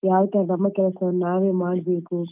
ಯಾವ್ ತರ ನಮ್ಮ ಕೆಲ್ಸವನ್ನು ನಾವೇ ಮಾಡ್ಬೇಕು